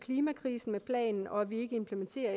klimakrisen med planen og at vi ikke implementerer